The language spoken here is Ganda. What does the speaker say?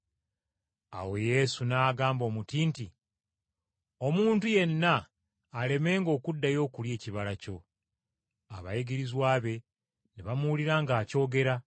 Awo Yesu n’agamba omuti nti, “Omuntu yenna alemenga okuddayo okulya ekibala kyo!” Abayigirizwa be ne bamuwulira ng’akyogera.